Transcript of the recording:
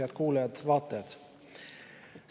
Head kuulajad-vaatajad!